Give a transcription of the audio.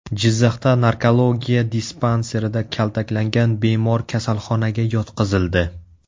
Jizzaxda narkologiya dispanserida kaltaklangan bemor kasalxonaga yotqizildi.